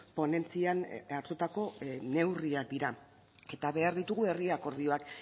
ponentzian hartutako neurriak dira eta behar ditugu herri akordioak